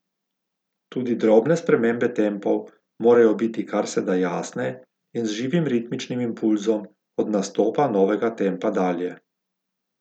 Tudi drobne spremembe tempov morajo biti kar se da jasne in z živim ritmičnim impulzom od nastopa novega tempa dalje.